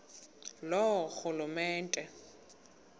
loorhulumente